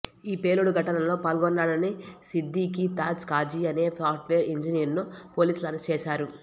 ఈపేలుడు ఘటనలో పాల్గొన్నాడని సిద్దిఖీ తాజ్ ఖాజీ అనే సాఫ్ట్ వేర్ ఇంజినీర్ను పోలీసులు అరెస్టు చేశారు